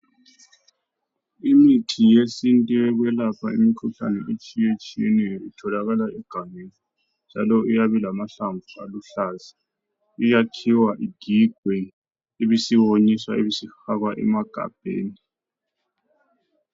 Imithi yesintu yokwelapha imkhuhlane etshiyatshiyeneyo itholakala egangeni njalo iyabe ilamahlamvu aluhlaza iyakhiwa. igigwe ,ibisiyonyiswa ibisifakwa emagabheni